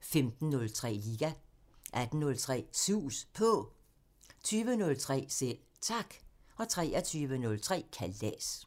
15:03: Liga 18:03: Sus På 20:03: Selv Tak 23:03: Kalas